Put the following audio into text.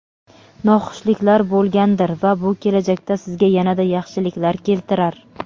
noxushliklar bo‘lgandir va bu kelajakda sizga yanada yaxshiliklar keltirar.